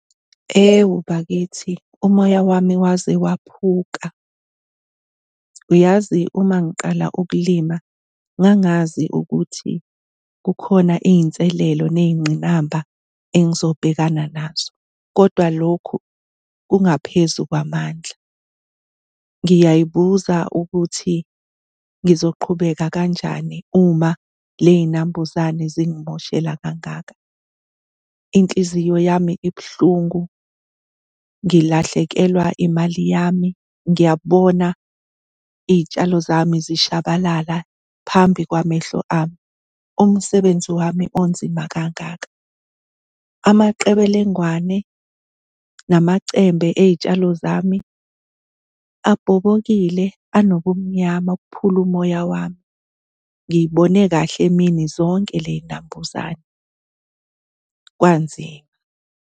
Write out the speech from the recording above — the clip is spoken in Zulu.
Ewu bakithi, umoya wami waze waphuka. Uyazi uma ngiqala ukulima ngangingazi ukuthi kukhona iy'nselelo ney'ngqinamba engizobhekana nazo, kodwa lokhu kungaphezu kwamandla. Ngiyay'buza ukuthi ngizoqhubeka kanjani uma le y'nambuzane zingimoshela kangaka. Inhliziyo yami ibuhlungu, ngilahlekelwa imali yami, ngiyabona iy'tshalo zami zishabalala phambi kwamehlo ami. Umsebenzi wami onzima kangaka. Amaqebelengwane namacembe ey'tshalo zami abhobokile, anobumnyama kuphula umoya wami. Ngiy'bone kahle emini zonke le y'nambuzane, kwanzima.